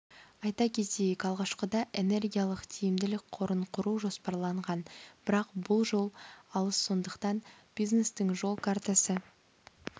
айта кетейік алғашында энергиялық тиімділік қорын құру жоспарланған бірақ бұл жол алыс сондықтан бизнестің жол картасы